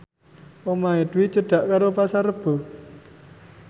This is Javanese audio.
omahe Dwi cedhak karo Pasar Rebo